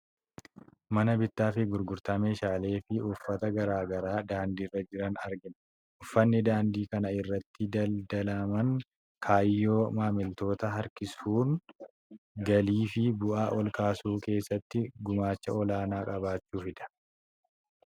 Mana bittaa fi gurgurtaa meeshaalee fi uffata garaa garaa daandii irra jiran argina. Uffanni daandii kana irratti daldalaman kaayyoo maamiltoota harkisuun galii fi bu'aa ol kaasuu keessatti gumaacha olaanaa qabaachuufidha.